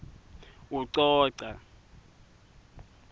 ucoca